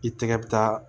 I tɛgɛ bɛ taa